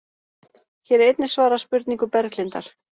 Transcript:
Hér er einnig svarað spurningu Berglindar: